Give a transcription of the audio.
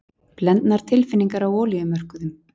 Blendnar tilfinningar á olíumörkuðum